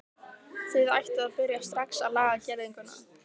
Þið ættuð að byrja strax að laga girðinguna.